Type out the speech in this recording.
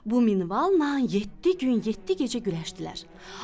Bu minvalla 70 gün, 70 gecə güləşdilər.